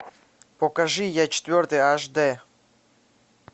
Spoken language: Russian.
покажи я четвертый аш дэ